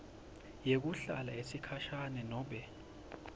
yekuhlala yesikhashana nobe